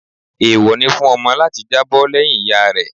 Èèwọ̀ ni fún ọmọ láti jábọ́ lẹ́yìn ìyá rẹ